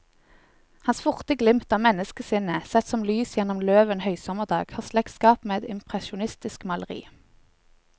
Hans forte glimt av menneskesinnet, sett som lys gjennom løv en høysommerdag, har slektskap med et impresjonistisk maleri.